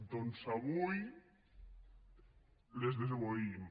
doncs avui les desobeïm